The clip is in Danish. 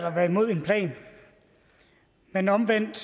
at være imod en plan men omvendt